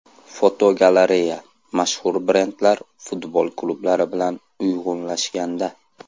Fotogalereya: Mashhur brendlar futbol klublari bilan uyg‘unlashganda.